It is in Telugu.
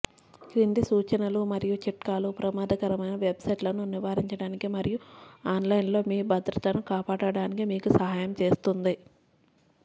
క్రింది సూచనలు మరియు చిట్కాలు ప్రమాదకరమైన వెబ్సైట్లను నివారించడానికి మరియు ఆన్లైన్లో మీ భద్రతను కాపాడడానికి మీకు సహాయం చేస్తుంది